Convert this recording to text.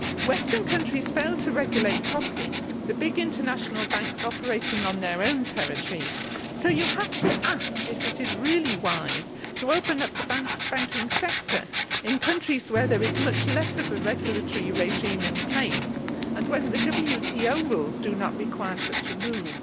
Western countries failed to regulate properly the big international banks operating on their own territories, so you have to ask whether it is really wise to open up the banking sector in countries where there is much less of a regulatory regime in place, and when the WTO rules do not require such a move.